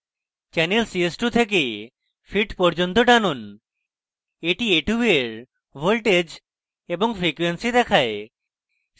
channel ch2 থেকে fit পর্যন্ত টানুন এটি ch2 a2 voltage এবং frequency দেখায়